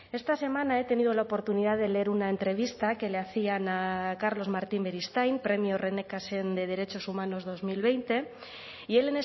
esta semana he tenido la oportunidad de leer una entrevista que le hacían a carlos martín beristain premio rené cassin de derechos humanos dos mil veinte y él